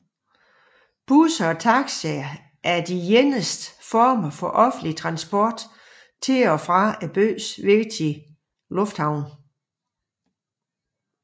Busser og taxier er de eneste former for offentlig transport til og fra byens vigtigste lufthavne